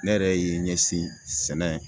Ne yɛrɛ ye ɲɛsin sɛnɛ